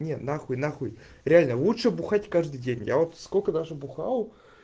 не на хуй на хуй реально лучше бухать каждый день я вот сколько даже бухал